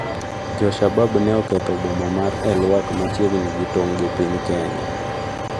Jo-Shabab ne oketho boma mar El Wak machiegni gi tong' gi piny Kenya